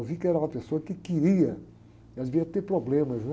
Eu vi que era uma pessoa que queria, ela devia ter problemas, né?